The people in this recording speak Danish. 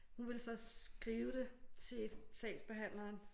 Hun ville så skrive det til sagsbehandleren